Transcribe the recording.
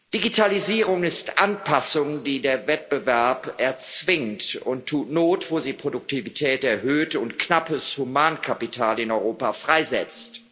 Digitalisierung ist Anpassung, die der Wettbewerb erzwingt, und tut not, wo sie Produktivität erhöht und knappes Humankapital in Europa freisetzt.